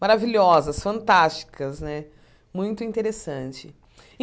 maravilhosas, fantásticas né, muito interessante.